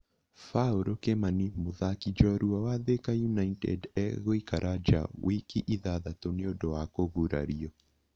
Paul Kimani mũthaki njorua wa Thĩka United agũikara nja wiki ithathatũ nĩ ũndũ wa kũgurario.